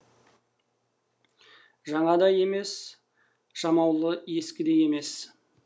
жаңа да емес жамаулы ескі де емес